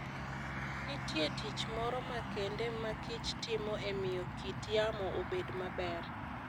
Nitie tich moro makende makich timo e miyo kit yamo obed maber.